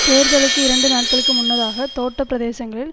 தேர்தலுக்கு இரண்டு நாட்களுக்கு முன்னதாக தோட்ட பிரதேசங்களில்